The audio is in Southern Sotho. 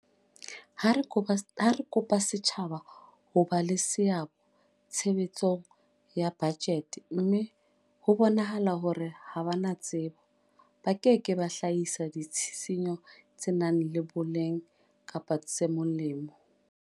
Ha re kopa setjhaba ho ba le seabo tshebetsong ya bajete mme ho bonahala hore ha ba na tsebo, ba ke ke ba hlahisa ditshisinyo tse nang le boleng kapa tse molemo.